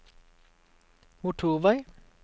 motorvei